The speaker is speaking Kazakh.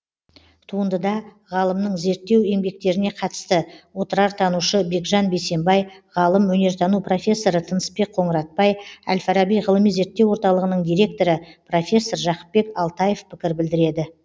туындыда ғалымның зерттеу еңбектеріне қатысты отырартанушы бекжан бейсенбай ғалым өнертану профессоры тынысбек қоңыратбай әл фараби ғылыми зерттеу орталығының директоры профессор жақыпбек алтаев пікір білдіреді